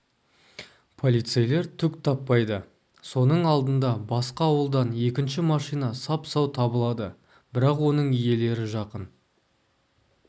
полицейлер түк таппайды соның алдында басқа ауылдан екінші машина сап-сау табылады бірақ оның иелері жақын